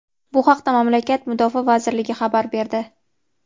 Bu haqda mamlakat Mudofaa vazirligi xabar berdi.